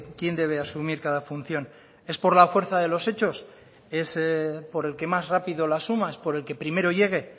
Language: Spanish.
quién debe asumir cada función es por la fuerza de los hechos es por el que más rápido lo asuma es por el que primero llegue